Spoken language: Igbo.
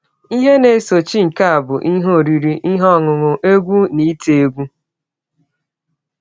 Ihe na - esochi nke a bụ ihe oriri, ihe ọṅụṅụ, egwú, na ite egwú.